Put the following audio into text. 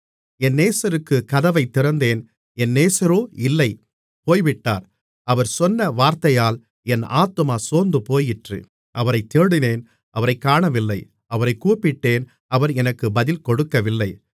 என் நேசருக்குக் கதவைத் திறந்தேன் என் நேசரோ இல்லை போய்விட்டார் அவர் சொன்ன வார்த்தையால் என் ஆத்துமா சோர்ந்துபோயிற்று அவரைத் தேடினேன் அவரைக் காணவில்லை அவரைக் கூப்பிட்டேன் அவர் எனக்கு பதில் கொடுக்கவில்லை